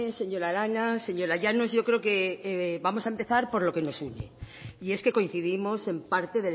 señora arana señora llanos yo creo que vamos a empezar por lo que nos une y es que coincidimos en parte